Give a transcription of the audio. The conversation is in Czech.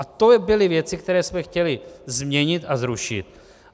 A to byly věci, které jsme chtěli změnit a zrušit.